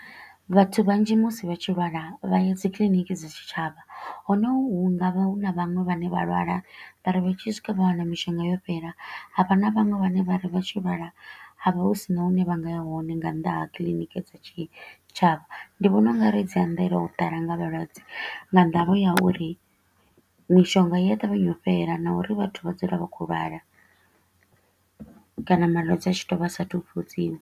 Vhathu vhanzhi musi vha tshi lwala vha ya dzi clinic dza tshitshavha, hone hu nga vha hu na vhaṅwe vhane vha lwala vha ri vha tshi swika vha wana mishonga yo fhela. Havha na vhaṅwe vhane vha ri vha tshi lwala ha vha hu sina hune vha nga ya hone nga nnḓa ha clinic dza tshitshavha. Ndi vhona u nga ri dzi anzela u ḓala nga vhalwadze nga ndavha ya uri mishonga i a ṱavhanya u fhela na uri vhathu vha dzula vha kho u lwala kana malwadze a tshi to u vha sa a thu fhodziwa.